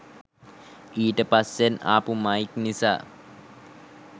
ඊට පස්සෙන් ආපු මයික් නිසා